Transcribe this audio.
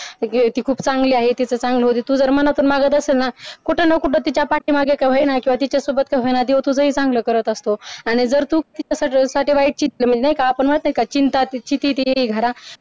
ती खूप चांगला आहे तिचं चांगलं होउ दे ती जर मनापासून मागत असेल ना कुठ ना कुठ तिच्या पाठीमागे का होईना किंवा तिच्यासोबत का होईना देव तुझंही चांगलं करत असतो असतो आणि जर तू सटवाई चित्त असं म्हणतो ना चिंता ती येई घरा